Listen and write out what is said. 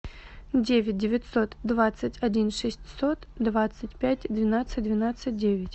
девять девятьсот двадцать один шестьсот двадцать пять двенадцать двенадцать девять